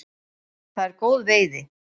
Það er góð veiði.